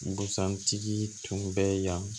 Busan tigi tun bɛ yan